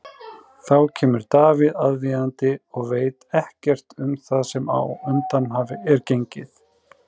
Þá kemur Davíð aðvífandi og veit ekkert um það sem á undan er gengið.